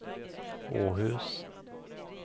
Åhus